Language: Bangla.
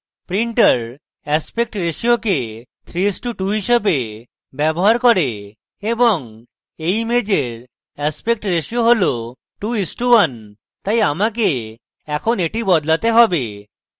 printer aspect ratio কে 3:2 হিসাবে ব্যবহার করে এবং এই ইমেজের aspect ratio has 2:1 তাই আমাকে এখন এটি বদলাতে have